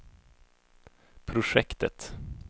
projektet